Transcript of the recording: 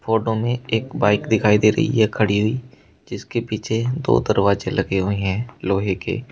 Photo में एक bike दिखाई दे रही है खड़ी हुई जिसके पीछे दो दरवाजे लगे हुए हैं लोहे के।